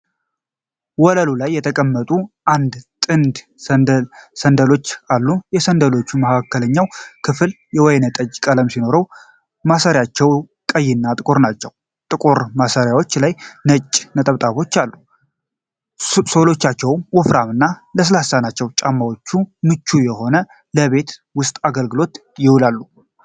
ወለሉ ላይ የተቀመጡ አንድ ጥንድ ሳንደሎች አሉ። የሳንደሎቹ መሃልኛው ክፍል ወይንጠጅ ቀለም ሲሆን፣ ማሰሪያዎቹ ቀይና ጥቁር ናቸው። ጥቁር ማሰሪያዎቹ ላይ ነጭ ነጠብጣቦች አሉ። ሶሎቻቸው ወፍራም እና ለስላሳ ናቸው። ጫማዎቹ ምቹ ሆነው ለቤት ውስጥ አገልግሎት ይውላሉ።